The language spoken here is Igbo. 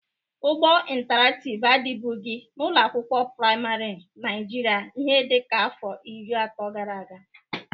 Ụgbọ ịntarakịv adịbụgị n'ụlọ akwụkwọ prịmarị Naịjịrịa ihe dịka afọ iri atọ gara aga.